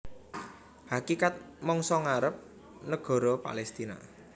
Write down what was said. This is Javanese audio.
Hakikat mangsa ngarep nagara Palestina